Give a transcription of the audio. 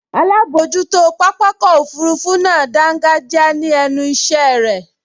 Alábojútó pápákọ̀ òfurufú náà dángájíá ní ẹnu ìṣẹ́ irẹ̀